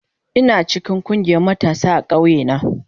Ina cikin ƙungiyar matasa a ƙauye na.